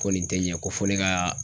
Ko nin te ɲɛ ,ko fo ne ka